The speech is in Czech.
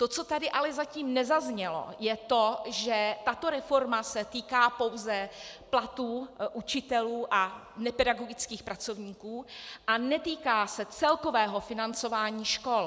To, co tady ale zatím nezaznělo, je to, že tato reforma se týká pouze platů učitelů a nepedagogických pracovníků a netýká se celkového financování škol.